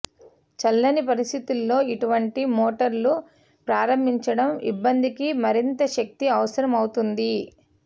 చల్లని పరిస్థితుల్లో ఇటువంటి మోటార్లు ప్రారంభించడం ఇబ్బందికి మరింత శక్తి అవసరమవుతుంది